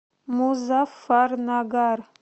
музаффарнагар